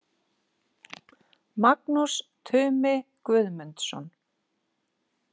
Magnús Tumi Guðmdunsson.